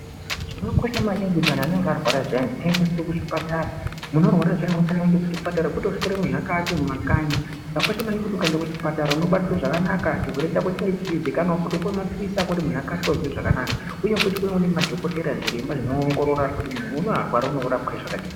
Zvakakosha maningi kuti antu anenge arwara zviyani aendeswe kuzvipatara. Muntu arwara zviyani unofanire kuenda kuzvipatara kwete kuswera muzvikati mumakanyi. Zvakakosha maningi kuti ukaenda kuzvipatara unobatwa zvakanaka chirwere chako chinge cheizikanwa vopiva maphirisi ako kuti muntu akasire kuzwa zvakanaka, uye futi kunenge kune madhokotera zviremba zvinoongorora kuti muntu uno arwara unorapwe zvakadini.